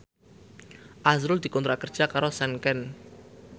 azrul dikontrak kerja karo Sanken